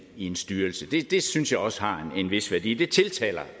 i en styrelse det synes jeg også har en vis værdi det tiltaler